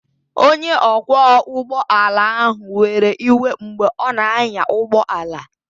Onye ọkwọ ụgbọ ala ahụ were iwe mgbe ọ na-anya ụgbọ ala